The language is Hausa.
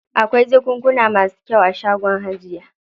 Akwai jakunkuna masu kyau a shagon hajiya.